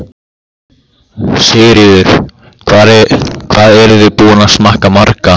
Sigríður: Hvað eruð þið búin að smakka marga?